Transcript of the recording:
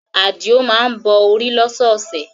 Adio má ń bọ orí lọ́sọ̀ọ̀sẹ̀